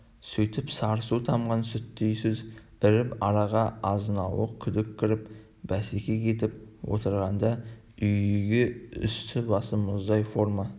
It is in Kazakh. сөйтіп сары су тамған сүттей сөз іріп араға азынауық күдік кіріп береке кетіп отырғанда үйге үсті-басы мұздай форма